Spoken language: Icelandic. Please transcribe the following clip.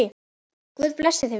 Guð blessi þig vinur.